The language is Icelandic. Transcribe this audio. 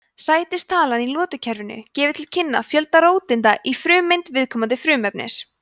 sætistalan í lotukerfinu gefur til kynna fjölda róteinda í frumeind viðkomandi frumefnis